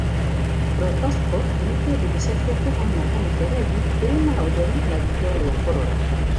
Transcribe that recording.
Proctoscope nĩ kĩndũ gĩceke, kĩhana kamũberethi kĩrĩ na ũtheri na riitho rĩa kũrora.